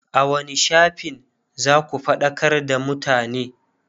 a wani shafin zaku faɗakar da mutane?